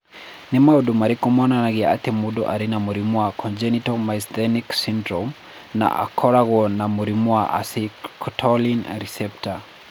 Nĩ maũndũ marĩkũ monanagia atĩ mũndũ arĩ na mũrimũ wa congenital myasthenic syndrome na akoragwo na mũrimũ wa acetylcholine receptor?